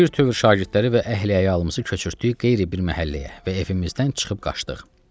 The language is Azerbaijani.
Bir tövür şagirdləri və əhli-əyalımızı köçürtdük qeyri bir məhəlləyə və evimizdən çıxıb qaçdıq.